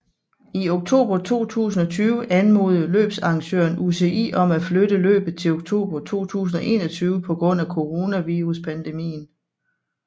I oktober 2020 anmodede løbsarrangøren UCI om at flytte løbet til oktober 2021 på grund af coronaviruspandemien